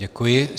Děkuji.